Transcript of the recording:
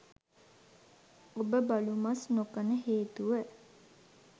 ඔබ බලු මස් නොකන හේතුව